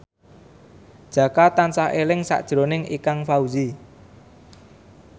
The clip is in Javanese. Jaka tansah eling sakjroning Ikang Fawzi